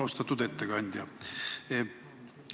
Austatud ettekandja!